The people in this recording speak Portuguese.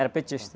Era petista.